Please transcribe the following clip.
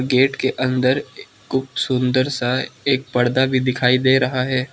Gate के अंदर खूब सुंदर सा एक पर्दा भी दिखाई दे रहा है।